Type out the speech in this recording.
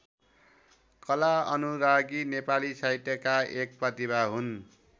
कला अनुरागी नेपाली साहित्यका एक प्रतिभा हुन्।